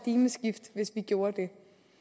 at gjorde det